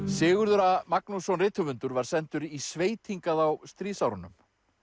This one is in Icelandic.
Sigurður a Magnússon rithöfundur var sendur í sveit hingað á stríðsárunum